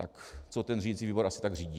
Tak co ten řídicí výbor asi tak řídí?